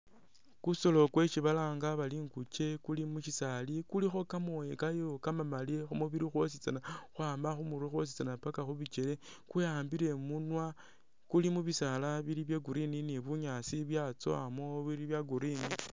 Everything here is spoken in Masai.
Kusolo kwesi balanga bari ikunke kuli musisaali kulikho kamooya kayo kamamali khumubili khwositsana khwama khumurwe khwositsana paka khubikele kwewambile imunwa kuli mubisaala bili bya green ni bunyaasi bya tsowamo bili bya green